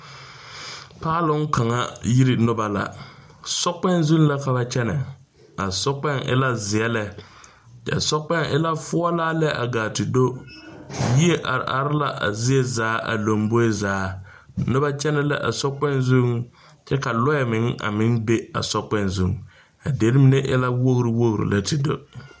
Paaloŋ kaŋa Yiri noba la sokpoŋ zu la ka kyɛne, a sokpoŋ e la zeɛ lɛ,a sokpoŋ e la foɔlaa lɛ a gaa te do yie are are la a zie zaa a lombori a zaa noba kyɛne la a sokpoŋ zuŋ, ka lɔɛ meŋ be a sokpoŋ zuŋ, kyɛ ka lɔre meŋ be a sokpoŋ zuŋ, a dire mine e la wogire wogire lɛ te do.